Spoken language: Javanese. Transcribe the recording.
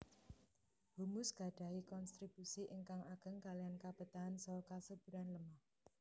Humus gadahi konstribusi ingkang ageng kaliyan kabetahan saha kesuburan lemah